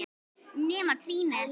Nema trýnið.